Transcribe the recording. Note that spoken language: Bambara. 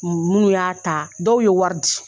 Minnu y'a ta dɔw ye wari di